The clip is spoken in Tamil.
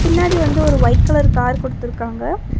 பின்னாடி வந்து ஒரு ஒயிட் கலர் கார் குடுத்துருக்காங்க.